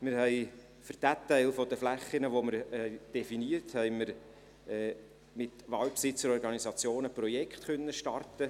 Wir konnten für den Teil der Flächen, den wir definiert haben, mit Waldbesitzer-Organisationen Projekte starten.